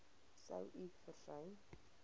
sou u versuim